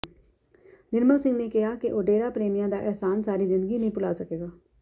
ਨਿਰਮਲ ਸਿੰਘ ਨੇ ਕਿਹਾ ਕਿ ਉਹ ਡੇਰਾ ਪ੍ਰੇਮੀਆਂ ਦਾ ਅਹਿਸਾਨ ਸਾਰੀ ਜ਼ਿੰਦਗੀ ਨਹੀਂ ਭੁਲਾ ਸਕੇਗਾ